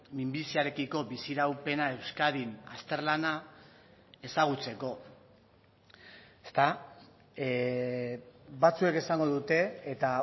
minbiziarekiko bizi iraupena euskadin azterlana ezagutzeko ezta batzuek esango dute eta